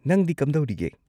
ꯅꯪꯗꯤ ꯀꯝꯗꯧꯔꯤꯒꯦ?